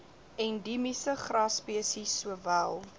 endiemiese grasspesies sowel